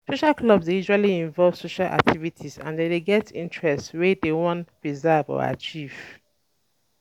Social clubs dey usually invove social activities and dem dey get interest wey dem wan preserve or achieve